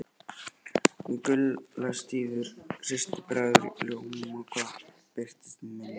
Gulla systir bregður ljóma hvar sem hún birtist í minningunni.